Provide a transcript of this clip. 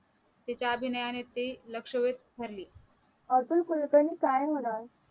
तिच्या अभिनयाने ती लक्षवेध ठरली अतुल कुलकर्णी काय होणार